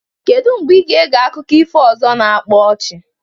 Kedu mgbe ị ga-ege akụkọ ifo ọzọ na-akpa ọchị?